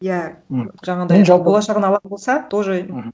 иә жаңағындай болашағын алар болса тоже аха